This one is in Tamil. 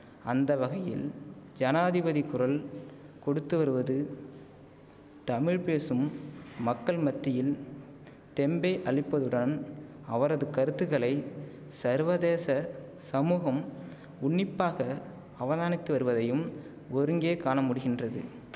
அந்த வகையில் ஜனாதிபதி குரல் கொடுத்து வருவது தமிழ் பேசும் மக்கள் மத்தியின் தெம்பே அளிப்பதுடன் அவரது கருத்துக்களை சர்வதேச சமூகம் உன்னிப்பாக அவதானித்து வருவதையும் ஒருங்கே காண முடிகின்றது